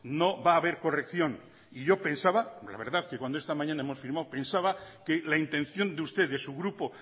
no va a haber corrección y yo pensaba la verdad que cuando esta mañana hemos firmado pensaba que la intención de usted de su grupo